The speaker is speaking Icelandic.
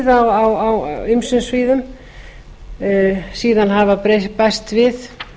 bara vanhirða á ýmsum sviðum síðan hafa bæst við